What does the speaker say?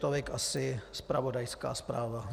Tolik asi zpravodajská zpráva.